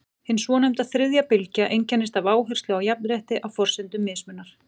Hin svonefnda þriðja bylgja einkennist af áherslu á jafnrétti á forsendum mismunar.